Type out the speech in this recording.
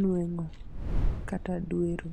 nweng'o kata dwero.